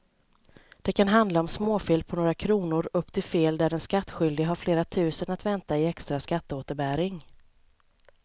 Det kan handla om småfel på några kronor upp till fel där den skattskyldige har flera tusen att vänta i extra skatteåterbäring.